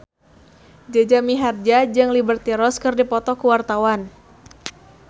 Jaja Mihardja jeung Liberty Ross keur dipoto ku wartawan